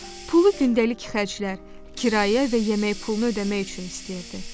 Pulu gündəlik xərclər, kirayə və yemək pulunu ödəmək üçün istəyirdi.